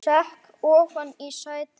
Sekk ofan í sætið.